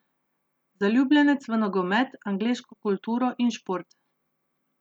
Zaljubljenec v nogomet, angleško kulturo in šport.